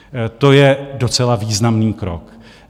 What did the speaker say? To je docela významný krok.